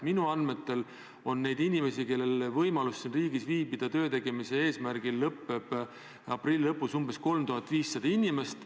Minu andmetel on neid, kellel on võimalus siin riigis viibida töötegemise eesmärgil ja kelle tööluba lõppeb aprilli lõpus, umbes 3500 inimest.